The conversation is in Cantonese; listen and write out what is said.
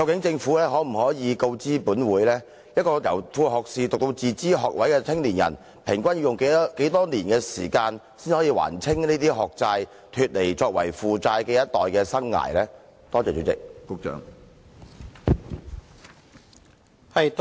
政府可否告知本會，年輕人由副學士學位唸到自資學位畢業後，平均要用多少年時間，才能還清這些學債，脫離負債的生涯呢？